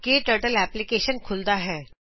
ਕਟਰਟਲ ਐਪਲਿਕੇਸ਼ਨ ਖੁਲੱਦਾ ਹੈ